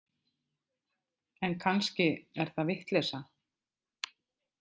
En kannski er það vitleysa.